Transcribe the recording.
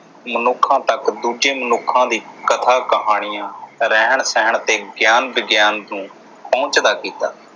ਮਨੁੱਖਾਂ ਤੱਕ ਦੂਜੇ ਮਨੁੱਖਾਂ ਦੀ ਕਥਾ ਕਹਾਣੀਆਂ ਰਹਿਣ ਸਹਿਣ ਤੇ ਗਿਆਨ ਵਿਗਿਆਨ ਨੂੰ ਕੀਤਾ